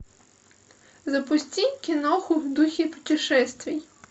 запусти киноху в духе путешествий